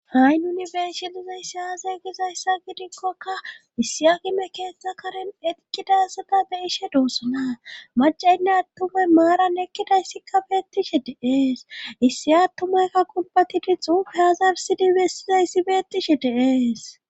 Ha'i nuni beeshe lizayssi hazey gizayssa gidikkokka issia gime keeththa karen eqiqqidasata beeshe doosana macayynne attumay maaran ekkidayssikka beettishe deees issi attumaykka kunbatidi xufehazarsidi bestizayssi beettishe dees.